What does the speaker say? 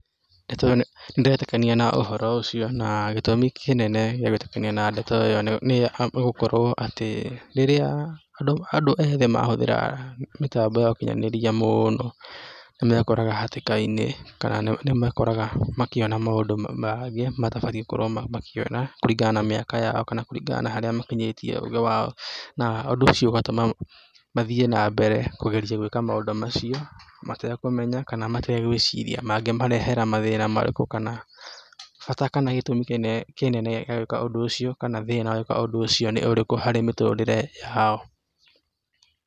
Nĩtũ nĩndĩretĩkania na ũhoro ũcio naa gĩtũmi kĩnene gĩa gwĩtĩkania na ndeto ĩyo nĩ gũkorwo atĩ rĩrĩa, andũ ethĩ mahũthĩra mĩtambo ya ũkinyanĩria mũno nĩmekoraga hatĩka-inĩ kaa nĩmekoraga makĩona maũndu ma mangĩ matabatie makorwo makĩona kũringana na mĩaka yao kana kũringana na harĩa makinyĩtie ũgĩ wao na, ũndũ ũcio ũgatũma mathie nambere kũgeria gwĩka maũndũ macio matekũmenya kana mategwĩciria mangĩmarehera mathĩna marĩkũ kana, bata kana gĩtũmi kĩnene gĩa gwĩka ũndũ ũcio kana thĩna wa gwĩka ũndũ ũcio nĩ ũrĩkũ harĩ mĩtũrĩre yao.